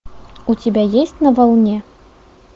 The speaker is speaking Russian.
у тебя есть на волне